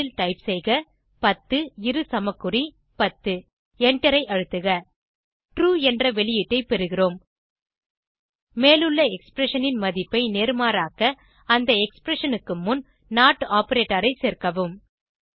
முதலில் டைப் செய்க 10 இரு சமக்குறி 10 எண்டரை அழுத்துக ட்ரூ என்ற வெளியீட்டை பெறுகிறோம் மேலுள்ள எக்ஸ்பிரஷன் ன் மதிப்பை நேர்மாறாக்க அந்த எக்ஸ்பிரஷன் க்கு முன் நோட் ஆப்பரேட்டர் ஐ சேர்க்கவும்